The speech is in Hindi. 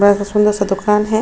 बड़ा सा सुंदर सा दुकान है।